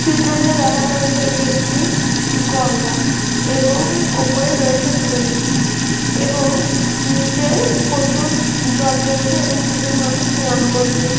চিত্রতিতে দেখানো হয়েছে এটি একটি গঙ্গা এবং ওপরে আছে ব্রিজ এবং নিচে প্রচুর জল রয়েছে এবং দুজন মানুষ স্নান করছে।